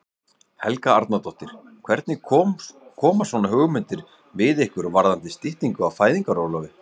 Helga Arnardóttir: Hvernig koma svona hugmyndir við ykkur varðandi styttingu á fæðingarorlofi?